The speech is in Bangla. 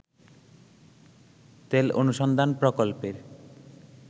তেল অনুসন্ধান প্রকল্পের